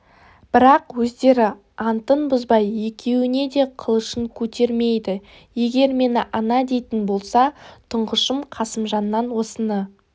бірақ өздері антын бұзбай екеуіне де қылышын көтермейді егер мені ана дейтін болса тұңғышым қасымжаннан осыны